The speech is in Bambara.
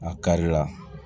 A kari la